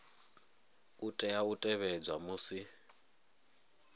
a tea u tevhedzwa musi